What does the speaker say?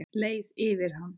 Leið yfir hann?